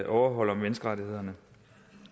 overholder menneskerettighederne